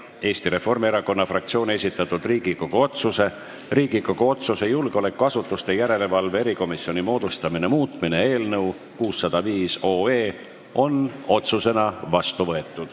Eesti Reformierakonna fraktsiooni esitatud Riigikogu otsuse "Riigikogu otsuse "Julgeolekuasutuste järelevalve erikomisjoni moodustamine" muutmine" eelnõu 605 on otsusena vastu võetud.